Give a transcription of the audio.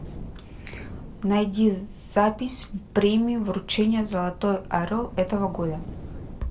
найди запись премии вручения золотой орел этого года